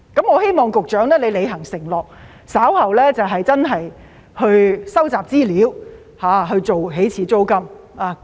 我希望局長履行承諾，稍後真的收集資料，訂定起始租金。